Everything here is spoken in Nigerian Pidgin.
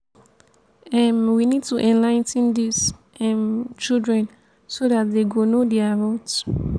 um we need to enligh ten dis um children so dat dey go know their rughts